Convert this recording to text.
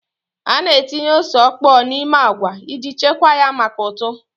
A na-etinye ose ọkpọọ n'ime agwa iji chekwaa ya maka ụtụ.